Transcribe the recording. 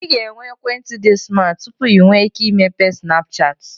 Ị ga-enwe ekwentị dị smat tupu ị nwee ike imepe Snapchat